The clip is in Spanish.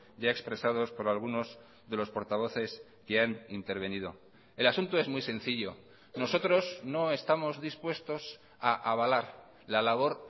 ya expresados por algunos de los portavoces que han intervenido el asunto es muy sencillo nosotros no estamos dispuestos a avalar la labor